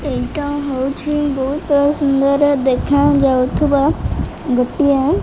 ଏଇଟା ହଉଛି ବହୁତ ସୁନ୍ଦର ଦେଖା ଯାଉଥିବା ଗୋଟିଏ --